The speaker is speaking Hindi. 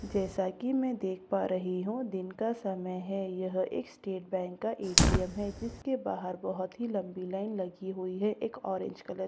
जैसा कि मैं देख पा रही हूं दिन का समय है यह एक स्टेट बैंक का ए_टी_एम है जिसके बाहर बहुत ही लंबी लाइन लगी हुई है एक ऑरेंज कलर की दिवार --